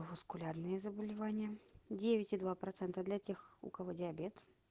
васкулярные заболевания девять и два процента для тех у кого диабет